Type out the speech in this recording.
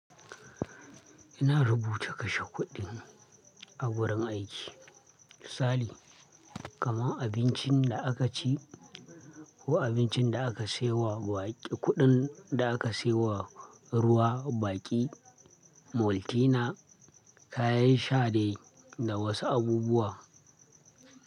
Ina rubuta kashe kuɗin a wurin aiki. Misali, kamar abincin da akaci ko abincin da aka siyo wa baƙi, kuɗin da aka siyo wa ruwa, baƙi, moltina, kayan shadai da wasu abubuwa.